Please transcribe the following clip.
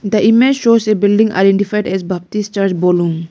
the image shows a building identifed as baptist church bolung.